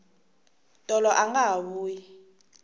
tolo anga ha vuyi